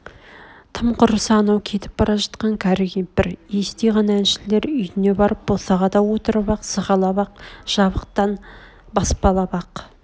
тым құрса анау кетіп бара жатқан кәрі кемпір истей ғана әншілер үйне барып босағада отырып-ақ сығалап-ақ жабықтан баспалап-ақ